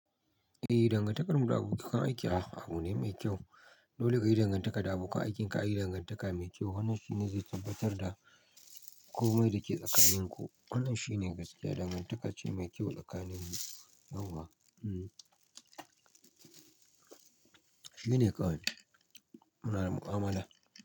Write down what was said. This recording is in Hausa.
Dangantakar mu da abokan aiki abu ne mai kyau. Dole kayi dangantaka da abokan aikinka, a yi dangantaka mai kyau. Wannan shine zai tabbatar da komai dake tsakaninku. Wannan shine gaskiya, dangantaka ce mai kyau tsakanin mu. Shine kawai. Muna da mu'amala.